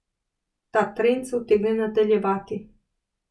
Ta trend se utegne nadaljevati.